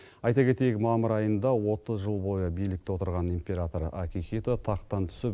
айта кетейік мамыр айында отыз жыл бойы билікте отырған император акихито тақтан түсіп